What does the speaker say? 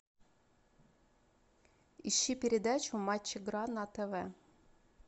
ищи передачу матч игра на тв